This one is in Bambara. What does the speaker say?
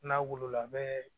N'a wolo la a bɛ